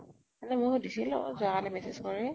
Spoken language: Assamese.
এনে মই সুধিছিলো যোৱা কালি message কৰি